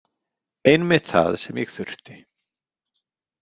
Einmitt það sem ég þurfti.